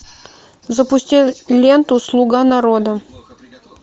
запусти ленту слуга народа